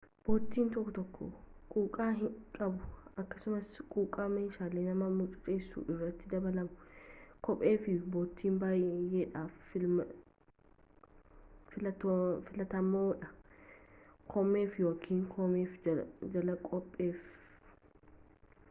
boottiin tokko tokkoo quuqqaa qabu akkasumas quuqqaa meeshalee nama mucuceessu irratti dabalamu kophee fi boottii bayyeedhaaf filaatamoodha koomeef ykn koomeef jala kopheef